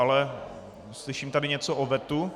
Ale slyším tady něco o vetu.